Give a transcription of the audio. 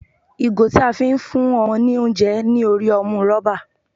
Ìgò tí a fi ń fún ọmọ ní oúnjẹ ní orí ọmú rọ́bà.